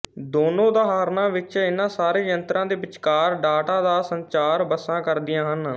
ਦੋਨੋਂ ਉਦਾਹਰਣਾਂ ਵਿੱਚ ਇਹਨਾਂ ਸਾਰੇ ਯੰਤਰਾਂ ਦੇ ਵਿਚਕਾਰ ਡਾਟਾ ਦਾ ਸੰਚਾਰ ਬੱਸਾਂ ਕਰਦੀਆਂ ਹਨ